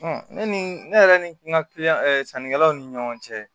ne ni ne yɛrɛ ni n ka kiliyan sannikɛlaw ni ɲɔgɔn cɛ